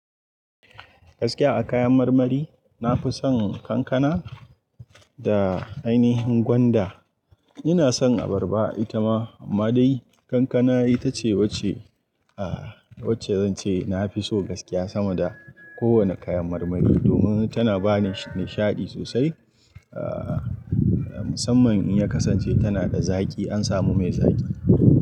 Gaskiya a kayan marmari, na fi son kankana da ainihin gwanda. Ina son abarba ita ma, amma dai kankana ita ce wacce, aah wacce zan ce na fi so gaskiya sama da kowane kayan marmari domin tana ba ni nishaɗi sosai. Ahh musamman in ya kasance tana da zaƙi, an sami mai zaƙi.